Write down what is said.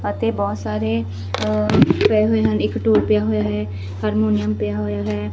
ਬਹੁਤ ਸਾਰੇ ਪਏ ਹੋਏ ਹਨ ਇੱਕ ਟੂਲ ਪਿਆ ਹੋਇਆ ਹੈ ਹਰਮੋਨੀਅਮ ਪਿਆ ਹੋਇਆ ਹੈ।